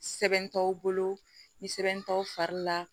Sɛbɛn t'aw bolo ni sɛbɛn t'aw fari la